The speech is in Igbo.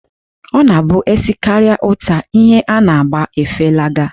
Ọ na-abụ e sekarịa útà, ihe a ga-agba efelaga.